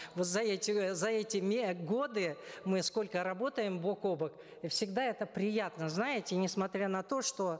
вот за эти за эти годы мы сколько работаем бок о бок всегда это приятно знаете несмотря на то что